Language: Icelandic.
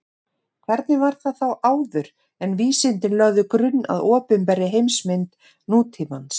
Hvernig var það þá áður en vísindin lögðu grunn að opinberri heimsmynd nútímans?